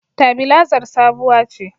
Tabilazar sabuwa ce